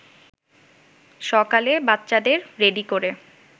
সকালে বাচ্চাদের রেডি করে